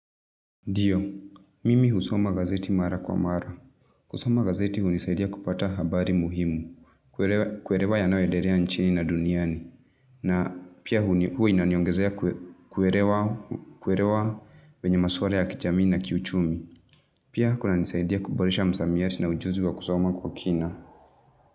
Ndiyo, mimi husoma gazeti mara kwa mara. Kusoma gazeti hunisaidia kupata habari muhimu. Kuelewa kuelewa yanayoendelea nchini na duniani. Na pia huwa inaniongezea kuelewa kwenye masuala ya kijamii na kiuchumi. Pia kunanisaidia kuboresha msamiati na ujuzi wa kusoma kwa kina.